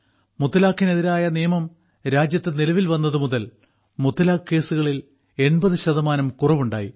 മുത്തലാഖിനെതിരായ നിയമം രാജ്യത്ത് നിലവിൽ വന്നത് മുതൽ മുത്തലാഖ് കേസുകളിൽ 80 ശതമാനം കുറവുണ്ടായി